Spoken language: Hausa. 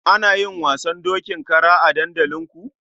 Ana yin wasan dokin kara a dandalinku?